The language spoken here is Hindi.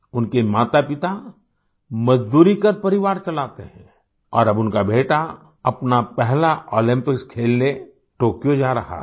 उनके मातापिता मज़दूरी कर परिवार चलाते हैं और अब उनका बेटा अपना पहलाओलम्पिक्स खेलने टोक्यो जा रहा है